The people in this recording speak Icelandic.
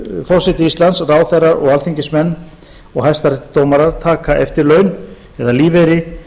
forseti íslands ráðherrar alþingismenn og hæstaréttardómarar taka eftirlaun eða lífeyri